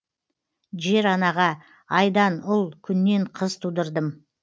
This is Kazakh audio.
жер анаға айдан ұл күннен қыз тудырдым